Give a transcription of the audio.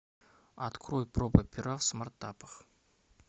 открой проба пера в смартапах